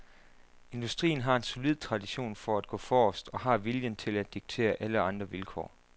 Industrien har en solid tradition for gå forrest og har viljen til at diktere alle andre vilkår.